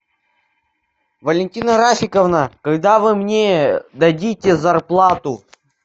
валентина рафиковна когда вы мне дадите зарплату